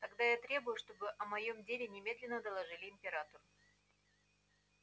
тогда я требую чтобы о моём деле немедленно доложили императору